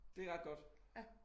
Det ret godt